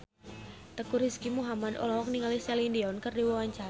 Teuku Rizky Muhammad olohok ningali Celine Dion keur diwawancara